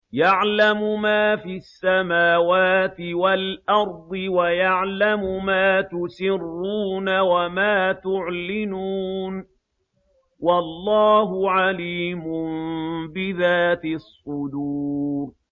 يَعْلَمُ مَا فِي السَّمَاوَاتِ وَالْأَرْضِ وَيَعْلَمُ مَا تُسِرُّونَ وَمَا تُعْلِنُونَ ۚ وَاللَّهُ عَلِيمٌ بِذَاتِ الصُّدُورِ